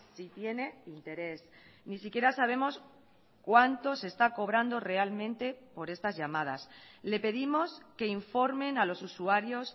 si tiene interés ni siquiera sabemos cuánto se está cobrando realmente por estas llamadas le pedimos que informen a los usuarios